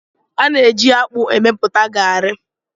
A na-eji akpu emepụta garri